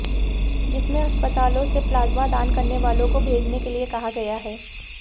जिसमें अस्पतालों से प्लाज्मा दान करने वालों को भेजने के लिए कहा गया है